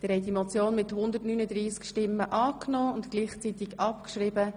Sie haben die Motion angenommen und gleichzeitig abgeschrieben.